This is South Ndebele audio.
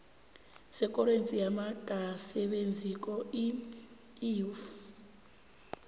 setjhorensi yabangasebenziko iuif